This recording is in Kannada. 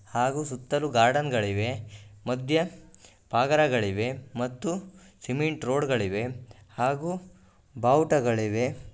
ಹಾಗು ಸುತ್ತಲೂ ಗಾರ್ಡೆನ್ಗಳಿವೆ ಮಧ್ಯ ಪಾಗಾರಗಳಿವೆ ಮತ್ತು ಸಿಮೆಂಟ್ ರೋಡ್ಗಳಿವೆ ಹಾಗು ಬಾವುಟಗಳಿವೆ.